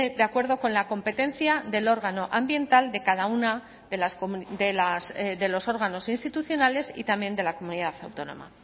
de acuerdo con la competencia del órgano ambiental de cada una de los órganos institucionales y también de la comunidad autónoma